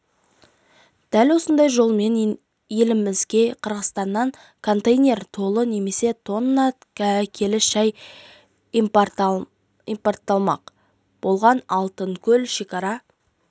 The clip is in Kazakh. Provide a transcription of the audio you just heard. дәл осындай жолмен елімізге қырғызстаннан контейнер толы немесе тонна келі шәй импортталмақ болған алтынкөл шекара